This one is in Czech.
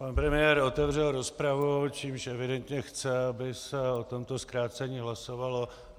Pan premiér otevřel rozpravu, čímž evidentně chce, aby se o tomto zkrácení hlasovalo.